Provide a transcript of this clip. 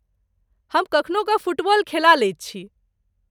हम कखनो कऽ फुटबॉल खेला लैत छी?